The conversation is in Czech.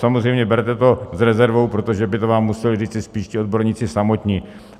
Samozřejmě berte to s rezervou, protože to by vám museli říct spíš ti odborníci samotní.